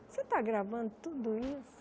Você está gravando tudo isso?